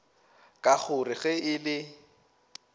ka gore ge e le